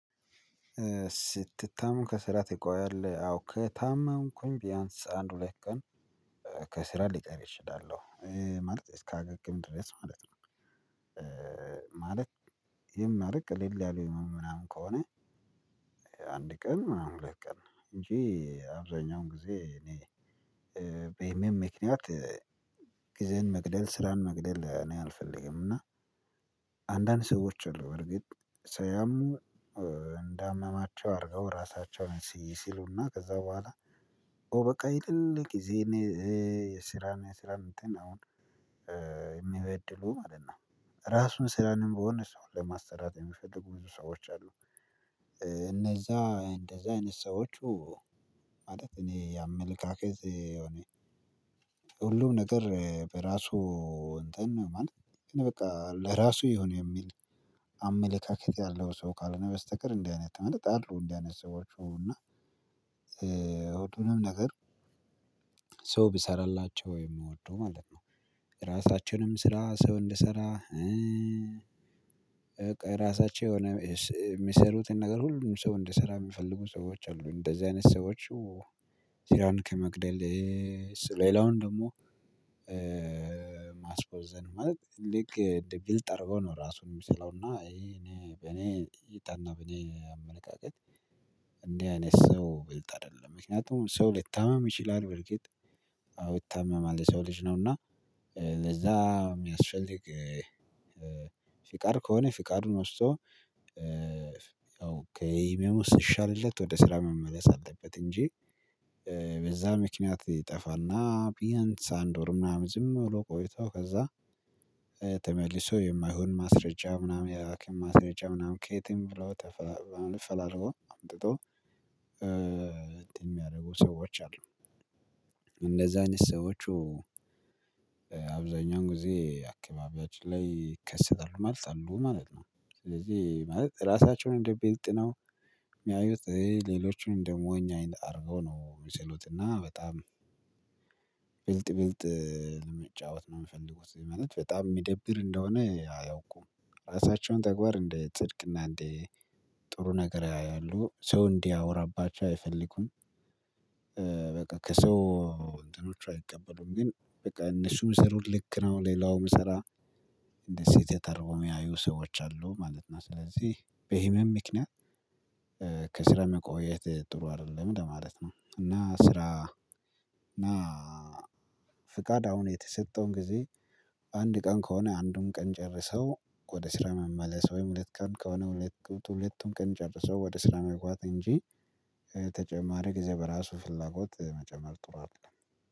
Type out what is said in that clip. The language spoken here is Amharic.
ስትታመም ከስራ ትቆያለህ? አዎ ከታመምኩኝ ቢያንስ አንድ ሁለት ቀን ከስራ ሊቀር እችላለሁ። ማለት እስካገግም ድረስ ማለት ነው። ማለት ይሄን ማለት ቀለል ያለ ምናምን ከሆነ አንድ ቀን ምናምን ሁለት ቀን እንጂ አብዛኛውን ጊዜ እኔ በህመም ምክንያት ጊዜን መግደል ስራን መግደል እኔ ያልፈልግም። እና አንዳንድ ሰዎች አሉ በርግጥ ሰያሙ እንዳመማቸው አድርገው ራሳቸውን ሲስሉና ከዛ በኋላ ኦ በቃ የሌለ ጊዜን የስራን የስራን እንትን አሁን የሚበድሉ ማለት ነው። ራሱን ስራንም በሆነ ሰው ለማሰራት የሚፈልጉ ብዙ ሰዎች አሉ። እነዛ እንደዛ አይነት ሰዎቹ ማለት እኔ ያመለካከት የሆነ ሁሉም ነገር በራሱ እንትን ማለት ግን በቃ ለራሱ የሆነ የሚል አመለካከት ያለው ሰው ካልሆነ በስተቀር እንዲህ አይነት በእርግጥ አሉ እንዲህ አይነት ሰዎች እና ሁሉንም ነገር ሰው ቢሰራላቸው የሚወዱ ማለት ነው። የራሳቸውንም ስራ ሰው እንዲሰራ ራሳቸው የሆነ የሚሰሩትን ነገር ሁሉ ሰው እንዲሰራ የሚፈልጉ ሰዎች አሉ። እንደዚህ አይነት ሰዎች ስራን ከመግደል ሌላውን ደግሞ ማስቦዘን ማለት ልክ እንደ ብልጥ አድርጎ ነው ራሱን የሚስለውና እኔ በኔ እይታ እና በኔ አመለካከት እንዲህ አይነት ሰው ብልጥ አይደለም። ምክንያቱም ሰው ሊታመም ይችላል በርግጥ አው ይታመማል የሰው ልጅ ነው እና ለዛ የሚያስፈልግ ፍቃድ ከሆነ ፍቃዱን ወስዶ ያው ከእመሙ ሲሻልለት ወደ ስራ መመለስ አለበት እንጂ በዛ ምክንያት ይጠፋና ቢያንስ አንድ ወር ምናምን ዝም ብሎ ቆይቶ ከዛ የማይሆን ማስረጃ ምናምን የሀኪም ማስረጃ ምናምን ከየትም ብሎ ፈላሎ አምጥቶ እንትን የሚያደርጉ ሰዎች አሉ። እንደዛ አይነት ሰዎች አብዛኛው ጊዜ አካባቢያችን ላይ ይከሰታሉ ማለት አሉ ማለት ነው። ስለዚህ ማለት ራሳቸውን እንደ ብልጥ ነው የሚያዩት። ሌሎቹን እንደሞኝ አይነት አድርጎ ነው ሚሰሎት እና በጣም ብልጥ ብልጥ ለመጫወት ነው የሚፈልጉት ማለት በጣም የሚደብር እንደሆነ አያውቁም። ራሳቸውን ተግባር እንደ ጽድቅና እንደ ጥሩ ነገር ያያሉ። ሰው እንዲያወራባቸው አይፈልጉም። በቃ ከሰው እንትኖች አይቀበሉም። ግን በቃ እነሱ ሚሰሩት ልክ ነው። ሌላው ሚሰራው እንደ ስህተት አድርገው የሚያዩ ሰዎች አሉ ማለት ነው። ስለዚህ በህመም ምክንያት ከስረ መቆየት ጥሩ አይደለም ለማለት ነው። እና ስራ እና ፍቃድ አሁን የተሰጠውን ጊዜ አንድ ቀን ከሆነ አንዱን ቀን ጨርሰው ወደ ስራ መመለስ ወይም ሁለት ቀን ከሆነ ሁለቱን ቀን ጨርሰው ወደ ስራ መግባት እንጂ ተጨማሪ ጊዜ በራሱ ፍላጎት መጨመር ጥሩ አይደለም።